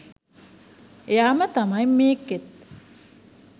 එයාම තමයි මේකෙත්